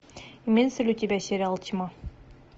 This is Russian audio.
имеется ли у тебя сериал тьма